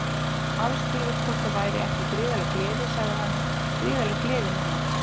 Aðspurður hvort það væri ekki gríðarleg gleði sagði hann Gríðarleg gleði núna.